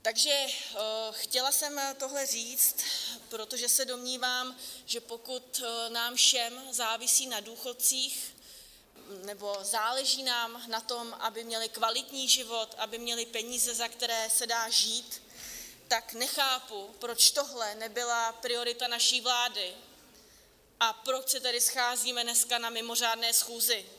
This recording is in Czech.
Takže chtěla jsem tohle říct, protože se domnívám, že pokud nám všem závisí na důchodcích nebo záleží nám na tom, aby měli kvalitní život, aby měli peníze, za které se dá žít, tak nechápu, proč tohle nebyla priorita naší vlády a proč se tady scházíme dneska na mimořádné schůzi.